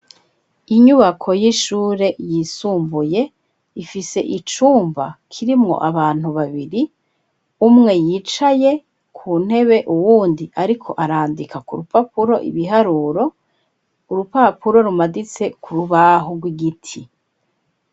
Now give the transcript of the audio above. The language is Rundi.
Inyubako y'ishure yisumbuye ifise icumba kirimwo abantu babiri umwe yicaye ku ntebe uwundi, ariko arandika ku rupapuro ibiharuro urupapuro rumaditse ku rubaho rw'igiti.